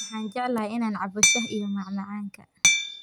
Waxaan jeclahay inaan cabbo shaah iyo macmacaanka.